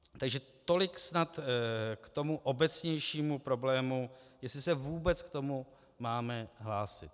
Takže tolik snad k tomu obecnějšímu problému, jestli se vůbec k tomu máme hlásit.